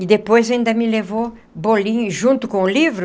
E depois ainda me levou bolinho junto com o livro.